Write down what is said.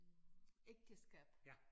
Øh ægteskab